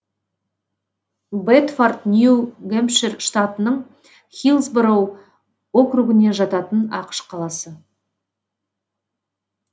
бэдфорд нью гэмпшир штатының хиллсбороу округіне жататын ақш қаласы